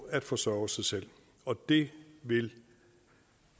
at forsørge sig selv og det